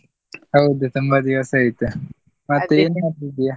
ಹೌದು ತುಂಬಾ ದಿವಸ ಆಯ್ತ್, ಏನ್ ಮಾಡ್ತಿದ್ದೀಯಾ?